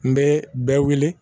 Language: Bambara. N bɛ bɛɛ wele